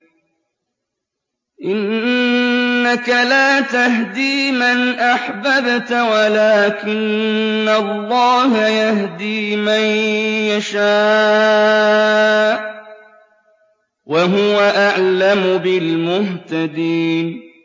إِنَّكَ لَا تَهْدِي مَنْ أَحْبَبْتَ وَلَٰكِنَّ اللَّهَ يَهْدِي مَن يَشَاءُ ۚ وَهُوَ أَعْلَمُ بِالْمُهْتَدِينَ